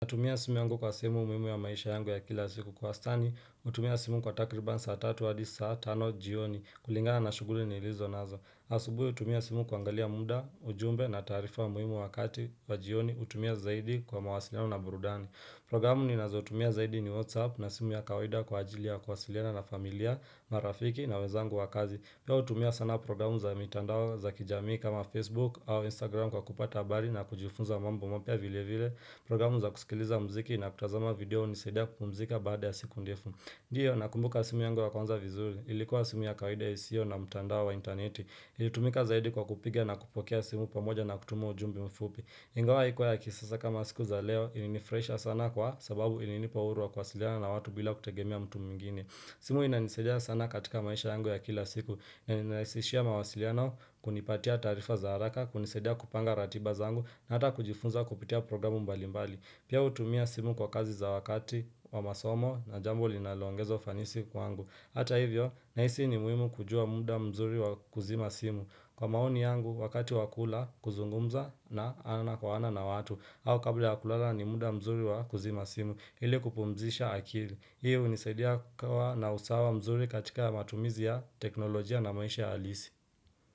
Natumia simu yangu kwa sehemu muhimu ya maisha yangu ya kila siku kwa wastani, hutumia simu kwa takriban saa tatu adi saa tano jioni kulingana na shuguri nilizo nazo. Asubuhi hutumia simu kuangalia muda, ujumbe na taarifa muhimu wakati wa jioni, hutumia zaidi kwa mawasiliano na burudani. Programu ninazotumia zaidi ni whatsapp na simu ya kawaida kwa ajili ya kuwasiliana na familia, marafiki na wezangu wa kazi. Pia hutumia sana programu za mitandao za kijamii kama Facebook au Instagram kwa kupata habari na kujifunza mambo mapya vile vile. Programu za kusikiliza mziki na kutazama video hunisaidia kupumzika baada ya siku ndefu. Ndiyo nakumbuka simu yangu wa kwanza vizuri. Ilikuwa simu ya kawaida isiyo na mtandao wa intaneti. Ilitumika zaidi kwa kupiga na kupokea simu pamoja na kutuma ujumbe mfupi. Ingawa haikuwa ya kisasa kama siku za leo ilinifuraisha sana kwa sababu ilinipa uhuru wa kuwasiliana na watu bila kutegemea mtu mwingine. Simu inanisaidia sana katika maisha yangu ya kila siku na inanirahisishia mawasiliano kunipatia taarifa za haraka, kunisadia kupanga ratiba zangu na ata kujifunza kupitia programu mbali mbali. Pia utumia simu kwa kazi za wakati wa masomo na jambo linalongeza ufanisi kwangu. Hata hivyo, nahisi ni muhimu kujua muda mzuri wa kuzima simu. Kwa maoni yangu, wakati wa kula, kuzungumza na ana kwa ana na watu. Au kabla ya kulala ni muda mzuri wa kuzima simu. Ili kupumzisha akili. Hii hunisaidia kukawa na usawa mzuri katika matumizi ya teknolojia na maisha halisi.